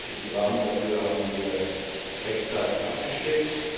Den gesetzlichen Rahmen dafür haben wir rechtzeitig abgesteckt.